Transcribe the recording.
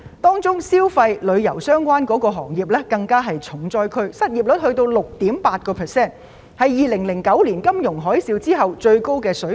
當中消費及旅遊相關行業更是重災區，相關失業率高達 6.8%， 是2009年金融海嘯後的最高水平。